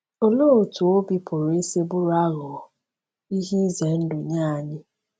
Olee otú obi pụrụ isi bụrụ aghụghọ—ihe ize ndụ nye anyị?